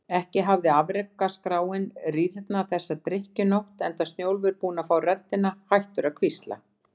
Ekki hafði afrekaskráin rýrnað þessa drykkjunótt, enda Snjólfur búinn að fá röddina, hættur að hvísla.